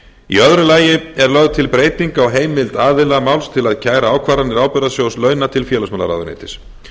í öðru lagi er lögð til breyting á heimild aðila máls til að kæra ákvarðanir ábyrgðasjóð launa til félagsmálaráðuneytis